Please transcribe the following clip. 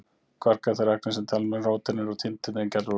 Kvarkar eru þær agnir sem til dæmis róteindir og nifteindir eru gerðar úr.